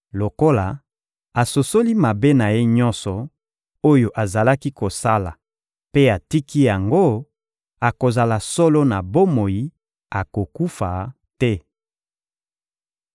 Lokola asosoli mabe na ye nyonso oyo azalaki kosala mpe atiki yango, akozala solo na bomoi, akokufa te.